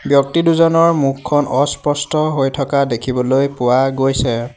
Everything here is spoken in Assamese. ব্যক্তিদুজনৰ মুখখন অস্পষ্ট হৈ থকা দেখিবলৈ পোৱা গৈছে।